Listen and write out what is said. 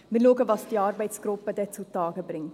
Wir werden sehen, was diese Arbeitsgruppe zustande bringt.